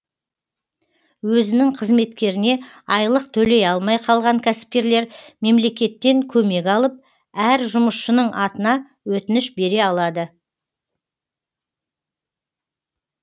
өзінің қызметкеріне айлық төлей алмай қалған кәсіпкерлер мемлекеттен көмек алып әр жұмысшының атына өтініш бере алады